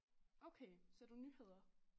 Okay ser du nyheder?